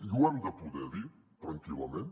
i ho hem de poder dir tranquil·lament